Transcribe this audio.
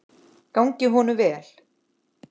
Gangi honum vel.